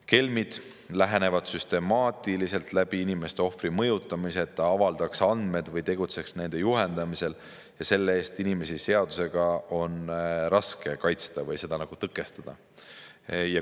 Kelmid lähenevad inimestele süstemaatiliselt ohvri mõjutamise kaudu, et ta avaldaks andmed või tegutseks nende juhendamisel, ja selle eest on inimesi raske seadusega kaitsta või seda tõkestada.